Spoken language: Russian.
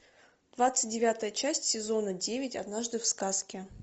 двадцать девятая часть сезона девять однажды в сказке